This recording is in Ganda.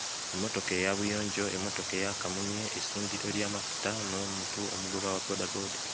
Emmotoka eya buyonjo emmotoka eya kamunye essundiro ly'amafuta n'omuntu omugoba wa boodabooda.